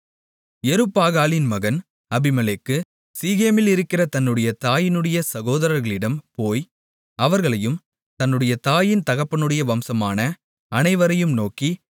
யெருபாகாலின் மகன் அபிமெலேக்கு சீகேமிலிருக்கிற தன்னுடைய தாயினுடைய சகோதரர்களிடம் போய் அவர்களையும் தன்னுடைய தாயின் தகப்பனுடைய வம்சமான அனைவரையும் நோக்கி